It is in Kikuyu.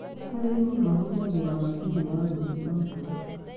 Arĩmi mahũthagĩra macini ya gũthima mbura.